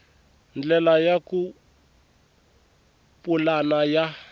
ndlela ya ku pulana ya